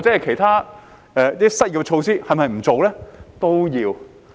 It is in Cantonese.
其他失業措施是否也不做呢？